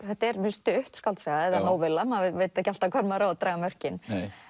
þetta er mjög stutt skáldsaga eða maður veit ekki alltaf hvar maður á að draga mörkin